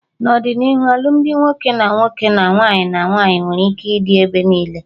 N'ọdịnihu alụmdi nwoke na nwoke, na nwaanyị na nwaanyị nwere ike ịdị ebe niile